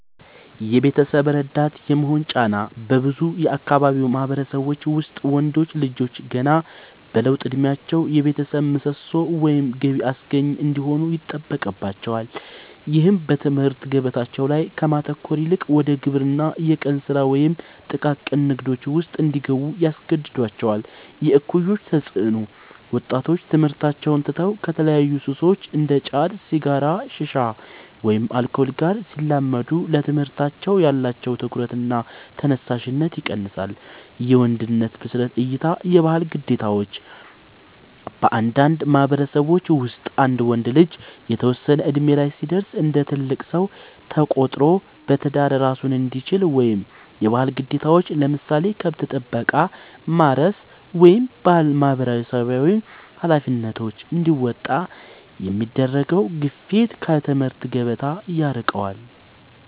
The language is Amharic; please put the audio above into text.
የቤተሰብ ረዳት የመሆን ጫና፦ በብዙ የአካባቢው ማህበረሰቦች ውስጥ ወንዶች ልጆች ገና በለውጥ እድሜያቸው የቤተሰብ ምሰሶ ወይም ገቢ አስገኚ እንዲሆኑ ይጠበቅባቸዋል። ይህም በትምህርት ገበታቸው ላይ ከማተኮር ይልቅ ወደ ግብርና፣ የቀን ስራ ወይም ጥቃቅን ንግዶች ውስጥ እንዲገቡ ያስገድዳቸዋል። የእኩዮች ተፅዕኖ፦ ወጣቶች ትምህርታቸውን ትተው ከተለያዩ ሱሶች (እንደ ጫት፣ ሲጋራ፣ ሺሻ ወይም አልኮል) ጋር ሲላመዱ ለትምህርታቸው ያላቸው ትኩረትና ተነሳሽነት ይቀንሳል። የወንድነት ብስለት እይታ (የባህል ግዴታዎች)፦ በአንዳንድ ማህበረሰቦች ውስጥ አንድ ወንድ ልጅ የተወሰነ እድሜ ላይ ሲደርስ እንደ ትልቅ ሰው ተቆጥሮ በትዳር እራሱን እንዲችል ወይም የባህል ግዴታዎችን (ለምሳሌ ከብት ጥበቃ፣ ማረስ ወይም ማህበራዊ ኃላፊነቶች) እንዲወጣ የሚደረገው ግፊት ከትምህርት ገበታ ያርቀዋል።